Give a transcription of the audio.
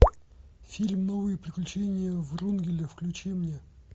фильм новые приключения врунгеля включи мне